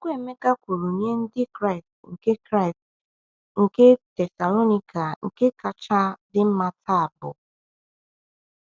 Okwu Emeka kwuru nye Ndị Kraịst nke Kraịst nke Thessalonika nke kacha dị mma taa bụ?